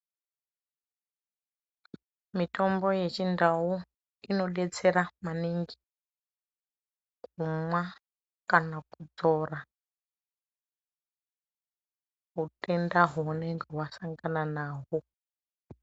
Mitombo yechindau inodetsera maningi kumwa kana kudzora utenda hwaunenge wasangana nahwo.